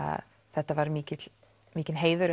þetta var mikill mikill heiður